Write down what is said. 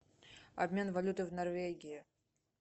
обмен валюты в норвегии